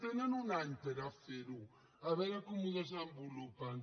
tenen un any per fer·ho a veure com ho desenvolupen